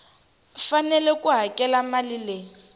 fanele ku hakela mali leyi